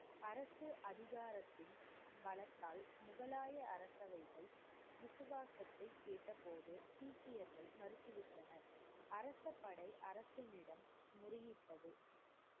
அரசு அதிகாரத்தின் பலத்தால், முகலாய அரசவைக்கு விசுவாசத்தை கெட்ட போது சீக்கியர்கள் மறுத்துவிட்டனர். அரச படை அரசினிடம் முறையிட்டது.